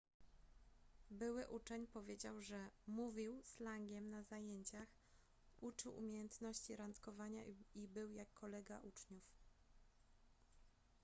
były uczeń powiedział że mówił slangiem na zajęciach uczył umiejętności randkowania i był jak kolega uczniów